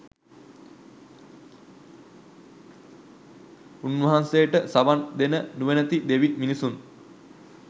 උන්වහන්සේට සවන් දෙන නුවණැති දෙවි මිනිසුන්